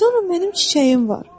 Sonra mənim çiçəyim var.